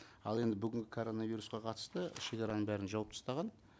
ал енді бүгінгі коронавирусқа қатысты шегараның бәрін жауып тастаған